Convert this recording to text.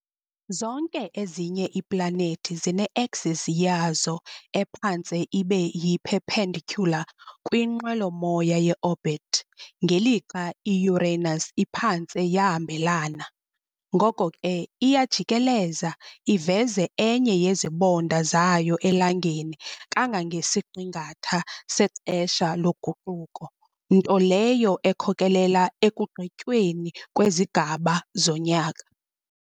Zonke ezinye iiplanethi zine-axis yazo ephantse ibe yi-perpendicular kwinqwelomoya ye-orbit, ngelixa i-Uranus iphantse yahambelana. Ngoko ke iyajikeleza, iveze enye yezibonda zayo eLangeni kangangesiqingatha sexesha loguquko, nto leyo ekhokelela ekugqityweni kwezigaba zonyaka.